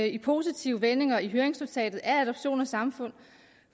i positive vendinger i høringsnotatet af adoption og samfund